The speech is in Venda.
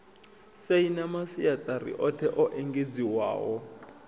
saina masiaṱari oṱhe o engedziwaho